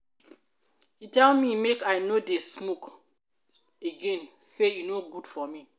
he tell me make i no dey smoke smoke again say e no good for me.